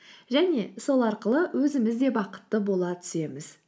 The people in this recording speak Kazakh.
және сол арқылы өзіміз де бақытты бола түсеміз